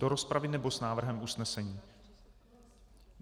Do rozpravy, nebo s návrhem usnesení?